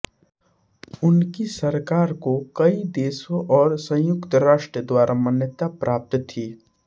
उनकी सरकार को कई देशों और संयुक्त राष्ट्र द्वारा मान्यता प्राप्त थी